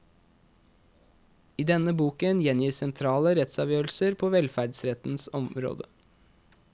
I denne boken gjengis sentrale rettsavgjørelser på velferdsrettens område.